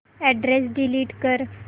address delete कर